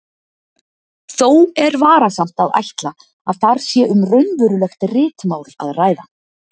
Þó er varasamt að ætla að þar sé um raunverulegt ritmál að ræða.